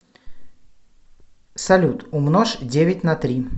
салют умножь девять на три